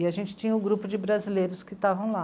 E a gente tinha um grupo de brasileiros que estavam lá.